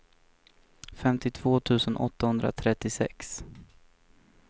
femtiotvå tusen tvåhundratrettiosex